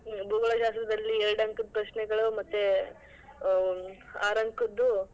ಭೂಗೋಳಶಾಸ್ತ್ರದಲ್ಲಿ ಎರಡ್ ಅಂಕದ್ ಪ್ರಶ್ನೆಗಳು ಮತ್ತೆ ಅಹ್ ಆರ್ ಅಂಕದ್ದು.